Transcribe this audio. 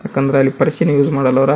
ಯಾಕಂದ್ರ ಅಲ್ಲಿ ಪರ್ಸ್ ನ ಯೂಸ ಮಾಡಲ್ಲ ಆಳ್ವರ.